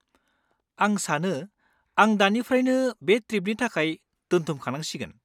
आं सानो आं दानिफ्रायनो बे ट्रिपनि थाखाय दोनथुमखानांसिगोन।